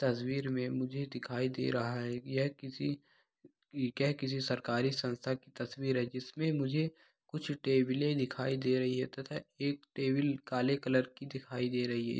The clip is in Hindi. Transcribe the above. तस्वीर में मुझे दिखाई दे रहा है यह किसी यह किसी सरकारी संस्था की तस्वीर है। जिसमें मुझे कुछ टेबले दिखाई दे रही है तथा एक टेबल काले कलर की दिखाई रही है।